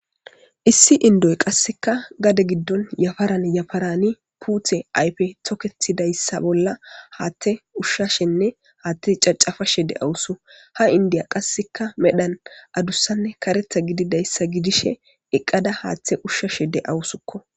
Issi inddoy qasseka gadde giddon yafaran yaffaran puute ayffey tokketidayssi bolla haththa ushshashene haththa cacafashe dawusuko ha inddiya qasseka medhdhon addussane kareththa giddishin eqqada haththe ushshashe de'awusuko.